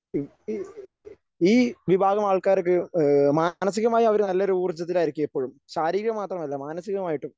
ഈ ഈ ഈ വിഭാഗം ആൾക്കാർക്ക് ഏഹ് മാനസികമായി അവര് നല്ലൊരു ഊർജ്ജത്തിലായിരിക്കും എപ്പോഴും ശാരീരികം മാത്രമല്ല മാനസികമായിട്ടും